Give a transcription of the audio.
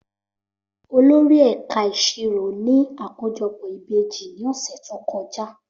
Olórí ẹ̀ka ìṣirò ní àkójọpọ̀ ìbejì ní ọ̀sẹ̀ tó kọjá.